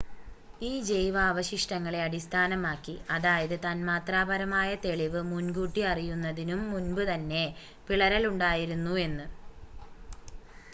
ഈ ജൈവാവശിഷ്ടങ്ങളെ അടിസ്ഥാനമാക്കി അതായത് തന്മാത്രാപരമായ തെളിവ് മുൻ കൂട്ടി അറിയുന്നതിനും മുൻപ് തന്നെ പിളരൽ ഉണ്ടായിരുന്നു എന്ന്